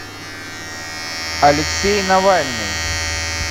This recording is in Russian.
алексей навальный